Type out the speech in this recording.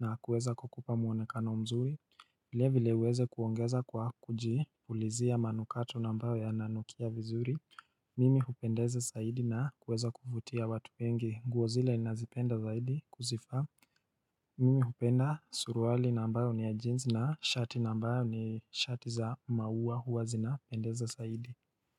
na kuweza kukupa muonekano mzuri vile vile uweze kuongeza kwa kuji pulizia manukato nambayo ya nanukia vizuri Mimi hupendeze saidi na kuweza kufutia watu wengi nguozile nazipenda zaidi kuzifa Mimi hupenda suruwali nambawe ni ya jeans na shati nambawe ni shati za maua huwa zinapendeze saidi.